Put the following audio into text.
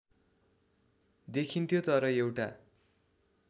देखिन्थ्यो तर एउटा